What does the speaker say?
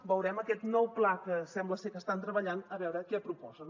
veurem aquest nou pla en què sembla ser que estan treballant a veure què proposa